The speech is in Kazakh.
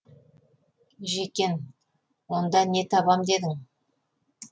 ж е к е н онда не табам дедің